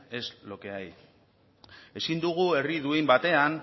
en es lo que hay ezin dugu herri duin batean